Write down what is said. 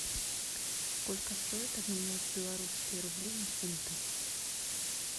сколько стоит обменять белорусские рубли на фунты